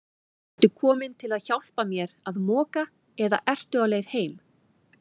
Ertu kominn til að hjálpa mér að moka eða ertu á leið heim?